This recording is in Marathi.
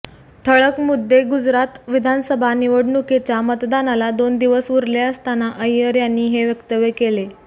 ठळक मुद्देगुजरात विधानसभा निवडणुकीच्या मतदानाला दोन दिवस उरले असताना अय्यर यांनी हे वक्तव्य केले